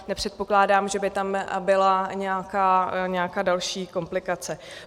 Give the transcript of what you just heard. Nepředpokládám, že by tam byla nějaká další komplikace.